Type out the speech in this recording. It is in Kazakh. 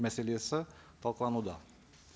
мәселесі талқылануда